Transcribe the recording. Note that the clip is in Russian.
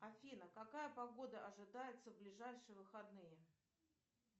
афина какая погода ожидается в ближайшие выходные